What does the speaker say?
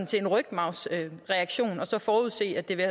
til en rygmarvsreaktion og så forudsige at det vil